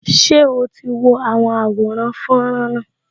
Ṣé o ti wo àwọn àwòrán fọ́nrán náà